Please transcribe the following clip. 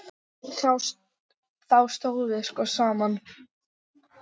Þá stóðum við sko saman.